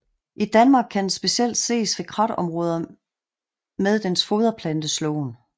I Danmark kan den specielt ses ved kratområder med dens foderplante slåen